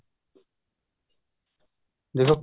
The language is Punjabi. ਦੇਖੋ